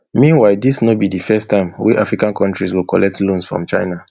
meanwhile dis no be di first time wey african kontris go collect loans from china